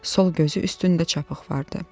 Sol gözünün üstündə çapıq vardı.